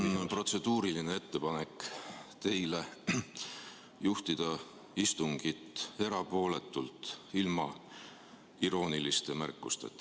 Jaa, mul on protseduuriline ettepanek teile juhtida istungit erapooletult, ilma irooniliste märkusteta.